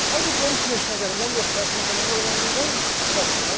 How did one Commissioner get a number of questions and another only one question?